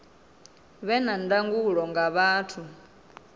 vhe na ndangulo nga vhathu